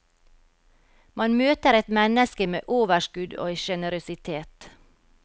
Man møter et menneske med overskudd og generøsitet.